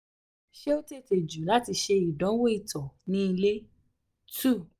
ṣe o tete ju lati ṣe idanwo ito um ni ile? two um